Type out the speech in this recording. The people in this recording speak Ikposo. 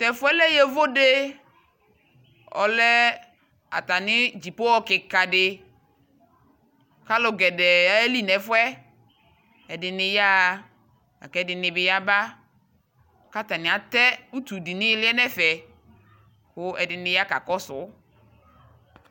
Tɛfuɛ lɛ yovo de Ɔlɛ atane dzipohɔ kika deAlu gɛdɛɛ aye li mɛfuɛƐde ne yaha la kɛde ne yaba ka atane atɛ utu de ne eleɛ nɛfɛ ko ɛde ne ya ka kɔso